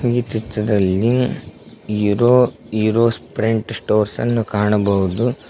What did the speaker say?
ಈ ಚಿತ್ರದಲ್ಲಿ hero hero friend ಅನ್ನೋ ಕಾಣಬಹುದು.